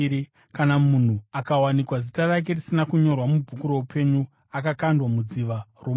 Kana munhu akawanikwa zita rake risina kunyorwa mubhuku roupenyu, akakandwa mudziva romoto.